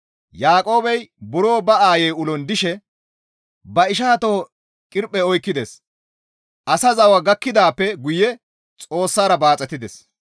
Yaaqoobey buro ba aayey ulon dishe ba isha toho qirphe oykkides; Asa zawa gakkidaappe guye oossara baaxetides.